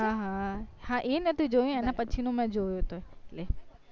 હા હા હા એ નતું જોયું એના પછી નું મેં જોયું હતું એટલે